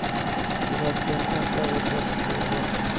Vi måste ändra vårt sätt att leva.